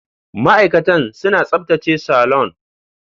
Ma'aikatan suna tsaftace salon.